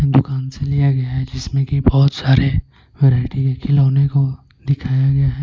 दुकान से लिया गया है जिसमें कि बहुत सारे वैरायटी के खिलौने को दिखाया गया है।